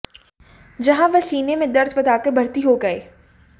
जहां वह सीने में दर्द बताकर भर्ती हो गए